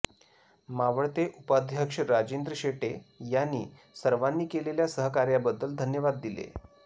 मावळते उपाध्यक्ष राजेंद्र शेटे यांनी सर्वांनी केलेल्या सहकार्याबद्दल धन्यवाद दिले